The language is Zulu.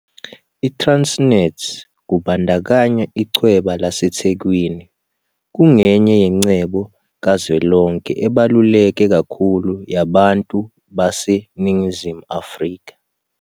ITransnet, kubandakanya Ichweba laseThekwini, kungenye yengcebo kazwelonke ebaluleke kakhulu yabantu baseNingizimu Afrika.